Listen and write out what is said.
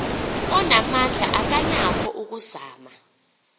onamandla akanako ukuzama